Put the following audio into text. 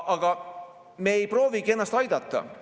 Aga me ei proovigi ennast aidata.